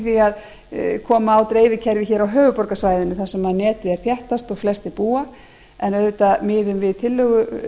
í því að koma á dreifikerfi hér á höfuðborgarsvæðinu þar sem netið er þéttast og flestir búa en auðvitað miðum við sem